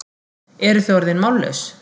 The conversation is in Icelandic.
Eruð þið orðin mállaus?